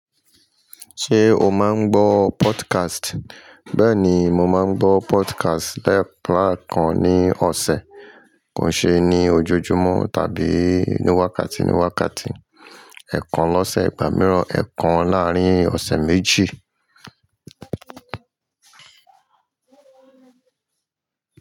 Ṣé o máa ń gbọ́ podcast? Bẹ́ẹ̀ni, mo máa ń gbọ́ podcast lẹ́ẹ̀pà kan ní ọ̀sẹ̀. Kò ṣe ní ojojúmọ́ tàbí ní wákàtí ní wákàtí. Ẹ̀ẹ̀kan lọ́sẹ̀, ìgbà mìíràn ẹ̀ẹ̀kan láàárín ọ̀sẹ̀ méjì.